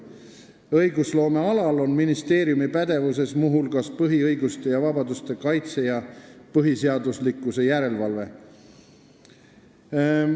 Õigusloomes on ministeeriumi pädevuses muu hulgas põhiõiguste ja -vabaduste kaitse ja põhiseaduslikkuse järelevalve.